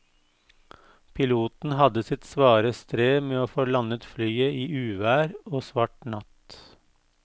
Piloten hadde sitt svare strev med å få landet flyet i uvær og svart natt.